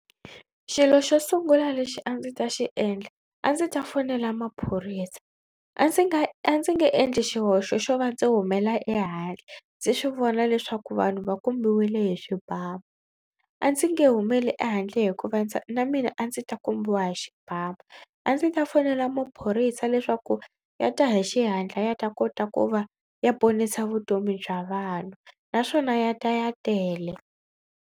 Xilo xo sungula lexi a ndzi ta xi endla a ndzi ta fonela maphorisa. A ndzi nga a ndzi nge endli xihoxo xo va ndzi humela ehandle ndzi swi vona leswaku vanhu va kombiwile hi swibamu. A ndzi nge humeli ehandle hikuva ndza na mina a ndzi ta kombiwa hi xibamu. A ndzi ta fonela maphorisa leswaku ya ta hi xihatla ya ta kota ku va ya ponisa vutomi bya vanhu naswona ya ta ya tele.